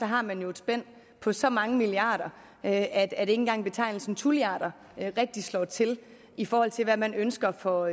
har man jo et spænd på så mange milliarder at ikke engang betegnelsen tulliarder rigtig slår til i forhold til hvad man ønsker for